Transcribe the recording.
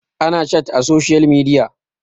ana chat a social media